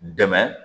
Dɛmɛ